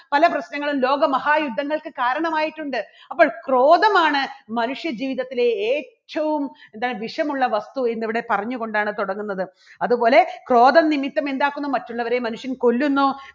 പല പ്രശ്നങ്ങളും ലോകമഹായുദ്ധങ്ങൾക്ക് കാരണമായിട്ടുണ്ട് അപ്പോൾ ക്രോധമാണ് മനുഷ്യജീവിതത്തിലെ ഏറ്റവും എന്താണ് വിഷമുള്ള വസ്തു ഇന്നിവിടെ പറഞ്ഞുകൊണ്ടാണ് തുടങ്ങുന്നത്. അതുപോലെ ക്രോധം നിമിത്തം എന്താക്കുന്നു മറ്റുള്ളവരെ മനുഷ്യൻ കൊല്ലുന്നു.